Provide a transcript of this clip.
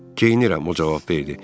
Geyinirəm o cavab verdi.